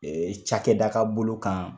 Ee cakɛda ka bolo kan